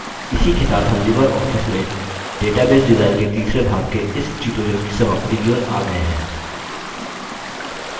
इसी के साथ हम libreoffice में database डिजाइन के तीसरे भाग के इस tutorial की समाप्ति की ओर आ गये हैं